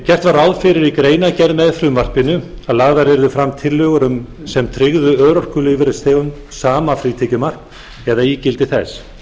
gert var ráð fyrir í greinargerð með frumvarpinu að lagðar yrðu fram tillögur sem tryggðu örorkulífeyrisþegum sama frítekjumark eða ígildi þess